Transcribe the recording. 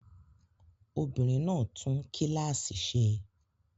Obìnrin náà tún kíláàsì ṣe.